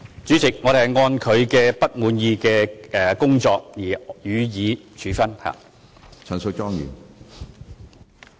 主席，我們會按照不滿意的表現予以處分。